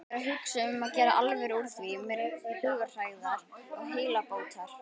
Ég er að hugsa um að gera alvöru úr því mér til hugarhægðar og heilsubótar.